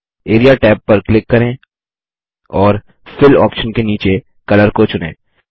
area tab पर click करें और फिल ऑप्शन के नीचे कलर को चुनें